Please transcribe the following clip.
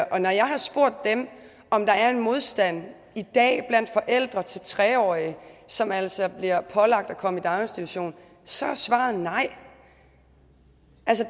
og når jeg har spurgt dem om der er en modstand i dag blandt forældre til tre årige som altså bliver pålagt at komme i daginstitution så er svaret nej